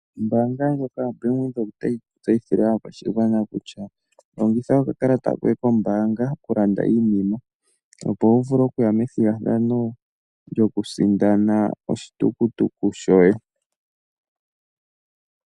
Ombaanga ndjoka yoBank Windhoek otayi tseyithile aakwashigwana kutya , longitha okakalata koye kombaanga okulanda iinima opo wuvule okuya methigathano lyokusindana oshitukutuku shoye.